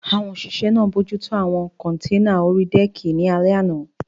Àwọn òṣìṣẹ́ náà bojútó àwọn kọ́nténà orí dẹ́ẹ̀kì ní alẹ́ àná